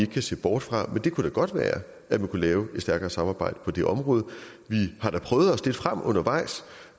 kan se bort fra men det kunne da godt være at man kunne lave et stærkere samarbejde på det område vi har da prøvet os lidt frem undervejs